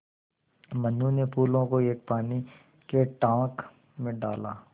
मनु ने फूलों को एक पानी के टांक मे डाला